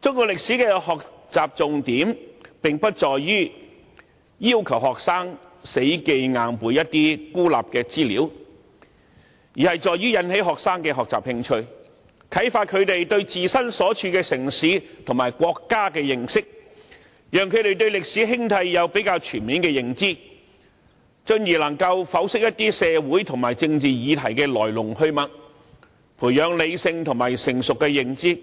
中國歷史的學習重點不在於要求學生死記硬背一些孤立的資料，而是引起學生的學習興趣，啟發他們對自身所處城市和國家的認識，讓他們對歷史興替有較全面的認知，進而能夠剖析一些社會和政治議題的來龍去脈，培養理性和成熟的認知，